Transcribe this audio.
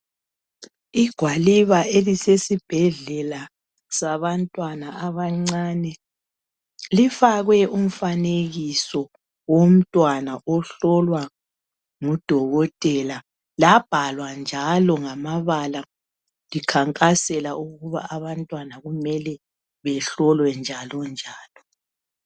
Igwaliba elisesibhedlela sabantwana abancaneifakwe umfanekiso womntwana womntwana ohlolwa ngudokotela. Labhalwa njalo ngamabala likhankasela ukuba abantwana kumele behlolwe njalo njalo.